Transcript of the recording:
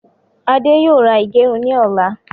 Ade yóò ra ìgẹrun ni ọ̀la